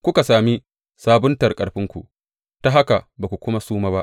Kuka sami sabuntar ƙarfinku, ta haka ba ku suma ba.